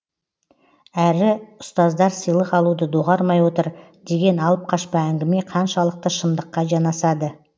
әрі ұстаздар сыйлық алуды доғармай отыр деген алып қашпа әңгіме қаншалықты шындыққа жанасады